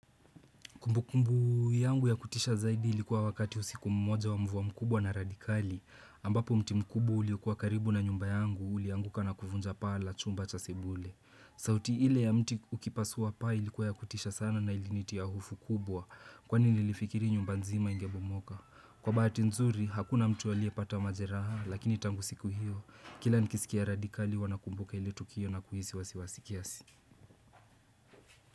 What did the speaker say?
Kumbu kumbu yangu ya kutisha zaidi ilikuwa wakati usiku mmoja wa mvua mkubwa na radhi kali, ambapo mti mkubwa uliokua karibu na nyumba yangu ulianguka na kuvunja paa la chumba cha sebule. Sauti ile ya mti ukipasua paa ilikuwa ya kutisha sana na ilinitia hofu kubwa kwani nililifikiri nyumba nzima ingebomoka. Kwa bahati nzuri, hakuna mtu aliye pata majeraha, lakini tangu siku hiyo, kila nikisikia radhi kali huwa nakumbuka ile tukio na kuhisi wasiwasi kiasi.